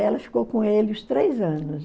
Ela ficou com ele os três anos.